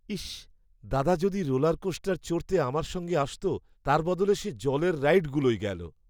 ইস্, দাদা যদি রোলারকোস্টার চড়তে আমার সঙ্গে আসত! তার বদলে সে জলের রাইডগুলোয় গেল।